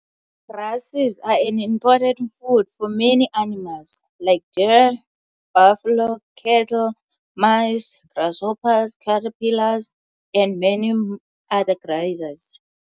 Grasses are an important food for many animals, like deer, buffalo, cattle, mice, grasshoppers, caterpillars, and many other grazers.